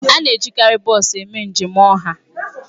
A na-ejikarị bọs eme njem ọha.